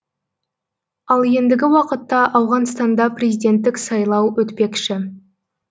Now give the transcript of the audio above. ал ендігі уақытта ауғанстанда президенттік сайлау өтпекші